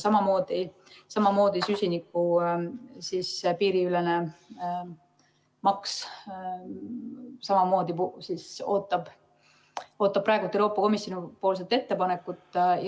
Samamoodi ootab süsiniku piiriülene maks praegu Euroopa Komisjoni ettepanekut.